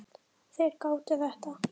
Þeir gátu þetta.